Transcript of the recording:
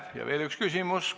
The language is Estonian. Ja veel üks küsimus.